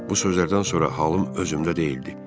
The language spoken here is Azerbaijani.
Bu sözlərdən sonra halım özümdə deyildi.